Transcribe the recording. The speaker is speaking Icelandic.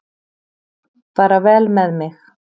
Fara vel með mig.